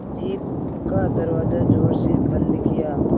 jeep का दरवाज़ा ज़ोर से बंद किया